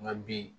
N ka bi